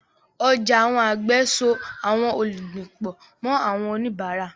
Ọjà àwọn àgbẹ̀ so àwọn olùgbìn pọ̀ mọ́ àwọn oníbàárà.